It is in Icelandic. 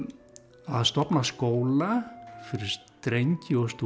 að stofna skóla fyrir drengi og stúlkur